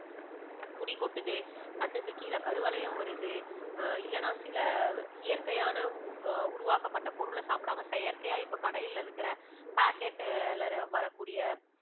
முடி கொட்டுது, கண்ணுக்கு கீழே கருவளையம் வருது அஹ் இல்லனா சில இயற்கையான உருவாக்கப்பட்ட பொருளை சாப்பிடாம செயற்கையா இப்ப கடையில இருக்குற packet ல வரக்கூடிய